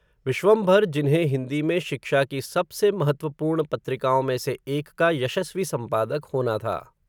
विश्वंभर, जिन्हें हिन्दी में शिक्षा की सबसे, महत्त्वपूर्ण पत्रिकाओं में से एक का, यशस्वी संपादक होना था